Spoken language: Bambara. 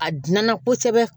A diɲɛna kosɛbɛ